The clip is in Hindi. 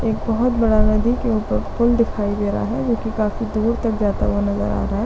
एक बहुत बड़ा नदी के ऊपर पूल दिखाई दे रहा हैं जो की काफी दूर तक जाता हुआ नज़र आ रहा है।